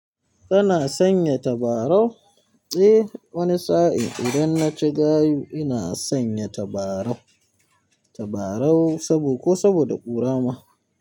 Kana sanya tabarau? Eh wani sa'in idan na ci gayu ina sanya tabarau, tabarau sabo ko saboda ƙura ma.